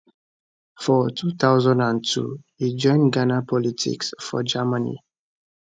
for 2002 e join ghana politics for germany